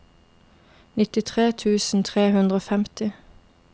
nittitre tusen tre hundre og femti